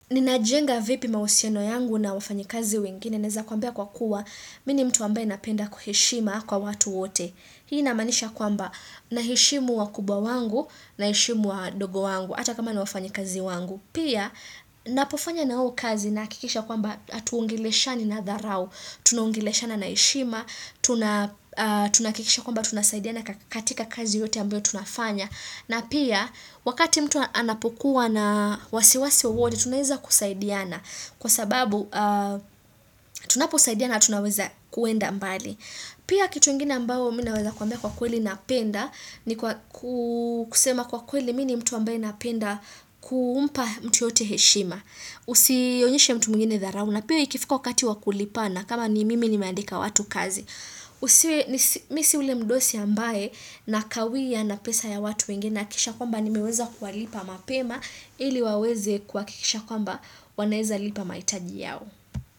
Ninajenga vipi mahusiano yangu na wafanyi kazi wengine? Naweza kuambia kwa kuwa mimi ni mtu ambaye napenda kuheshima kwa watu wote. Hii inamaanisha kwamba naheshimu wakubwa wangu, naheshimu wadogo wangu hata kama ni wafanyikazi wangu. Pia ninapofanya nao kazi nahakikisha kwamba hatuongeleshani na dharau. Tunaungeleshana na heshima, tunahakikisha kwamba tunasaidiana katika kazi yote ambayo tunafanya. Na pia, wakati mtu anapokuwa na wasiwasi wowote, tunaweza kusaidiana. Kwa sababu, tunaposaidiana, tunaweza kuenda mbali. Pia, kitu ingine ambao, mimi naweza kuambia kwa kweli napenda, ni kusema kwa kweli, mi ni mtu ambaye napenda kumpa mtu yoyote heshima. Usionyeshe mtu mwngine dharau na. Pia, ikifika wakati wa kulipana kama ni mimi nimeandika watu kazi. Usiwe, mi si yule mdosi ambaye nakawia na pesa ya watu wengine nahakikisha kwamba nimeweza kuwalipa mapema ili waweze kuhakikisha kwamba wanaweza lipa mahitaji yao.